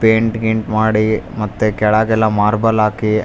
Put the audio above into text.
paint ಗೀನ್ಟ್ ಮಾಡಿ ಮತ್ತೇ ಕೆಳಗೆಲ್ಲ ಮಾರ್ಬಲ್ ಹಾಕಿ --